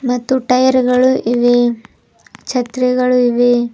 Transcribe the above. ಮತ್ತು ಟೈರ್ ಗಳು ಇವೆ ಛತ್ರಿಗಳು ಇವೆ.